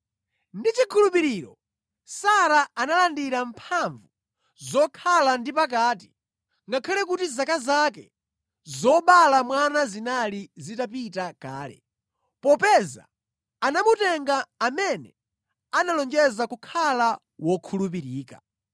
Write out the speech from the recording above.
Ndi chikhulupiriro Sara analandira mphamvu zokhala ndi pakati ngakhale kuti zaka zake zobala mwana zinali zitapita kale, popeza anamutenga amene analonjeza kukhala wokhulupirika.